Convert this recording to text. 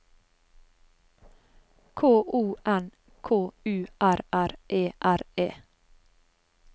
K O N K U R R E R E